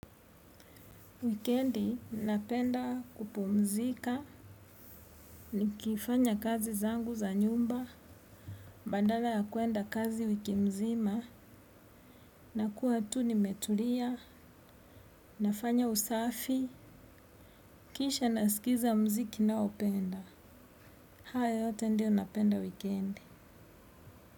Wikendi, napenda kupumzika, nikifanya kazi zangu za nyumba, baaada ya kuenda kazi wikimzima, na kuwa tu ni metulia, nafanya usafi, kisha nasikiza mziki naopenda. Hayo yote ndio napenda wikendi.